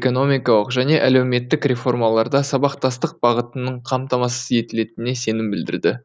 экономикалық және әлеуметтік реформаларда сабақтастық бағытының қамтамасыз етілетініне сенім білдірді